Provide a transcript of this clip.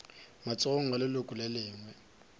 matsogong a leloko le lengwe